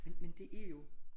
Men men det er jo